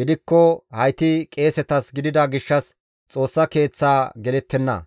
gidikko hayti qeesetas gidida gishshas Xoossa Keeththaa gelettenna.